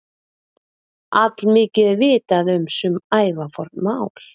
Allmikið er vitað um sum ævaforn mál.